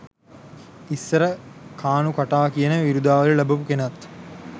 ඉස්සර කානු කටා කියන විරුදාවලි ලබපු කෙනත්